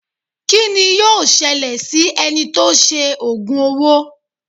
Kí ni yíò ṣẹlẹ̀ si ẹni tó sé ògùn owó?